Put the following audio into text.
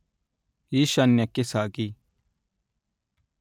ಈಶಾನ್ಯಕ್ಕೆ ಸಾಗಿ